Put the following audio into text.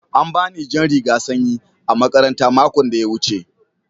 An bani jan rigan sanƴi a makaranta maƙon da ya wuce.